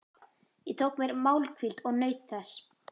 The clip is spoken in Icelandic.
Ég tók mér málhvíld og naut þess.